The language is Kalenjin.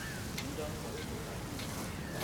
Tindoi kakiletabkei